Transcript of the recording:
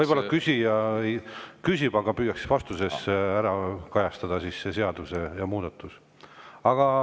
Võib-olla küsija küsib, aga püüaks vastuses kajastada seda seadusemuudatust.